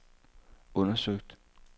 undersøgt